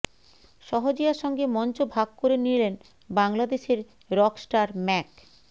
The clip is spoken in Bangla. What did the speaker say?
সহজিয়ার সঙ্গে মঞ্চ ভাগ করে নিলেন বাংলাদেশের রকস্টার ম্যাক